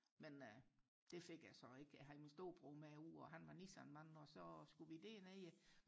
men det fik jeg så ikke jeg havde min storebror med ude og han var Nissan mand og så skulle vi derned